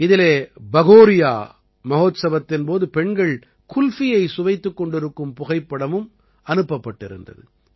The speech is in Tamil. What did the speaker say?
இதிலே பகோரியா மஹோத்சவத்தின் போது பெண்கள் குல்ஃபியை சுவைத்துக் கொண்டிருக்கும் புகைப்படம் அனுப்பப்பட்டிருந்தது